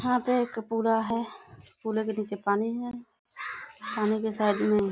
यहाँ पे एक पुरा है। पुरे के नीचे पानी है। सामने के साइड में --